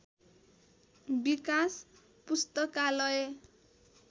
विकाश पुस्तकालय